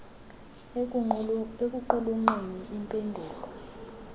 ekuqulunqeni im pendulo